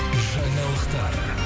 жаңалықтар